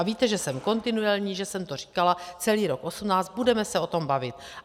A víte, že jsem kontinuální, že jsem to říkala celý rok 2018, budeme se o tom bavit.